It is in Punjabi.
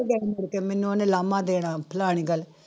ਗਈ ਮੁੜਕੇ ਮੈਨੂੰ ਉਹਨੇ ਲਾਮਾ ਦੇਣਾ ਫਲਾਣੀ ਗੱਲ